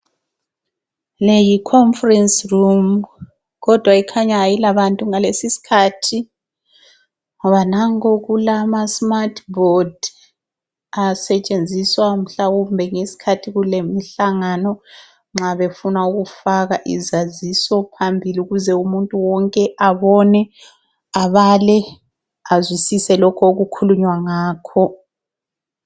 Le yi Conference Room kodwa ikhanya ayilabantu ngalesisikhathi ngoba nanku kulama smart board asetshenziswa mhlawumbe ngesikhathi kulemihlangano nxa befuna ukufaka izaziso phambili ukuze umuntu wonke abone, abale azwisise lokho okukhulunywa ngakho.